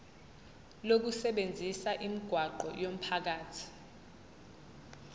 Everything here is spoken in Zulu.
lokusebenzisa imigwaqo yomphakathi